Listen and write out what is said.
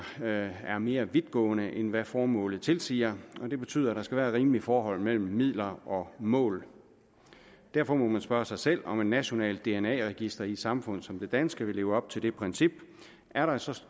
er er mere vidtgående end hvad formålet tilsiger det betyder at der skal være et rimeligt forhold mellem midler og mål derfor må man spørge sig selv om et nationalt dna register i et samfund som det danske vil leve op til det princip er der så